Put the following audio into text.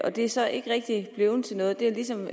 det er så ikke rigtig blevet til noget det er ligesom